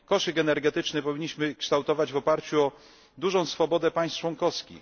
Koszyk energetyczny powinniśmy kształtować woparciu odużą swobodę państw członkowskich.